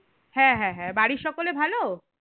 হ্যাঁ হ্যাঁ হ্যাঁ বাড়ির সকলে ভালো?